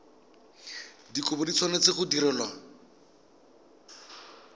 dikopo di tshwanetse go direlwa